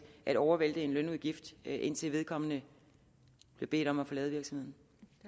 at overvælte en lønudgift indtil vedkommende bliver bedt om at forlade virksomheden